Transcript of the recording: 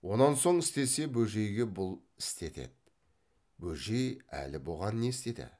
онан соң істесе бөжейге бұл істетеді бөжей әлі бұған не істеді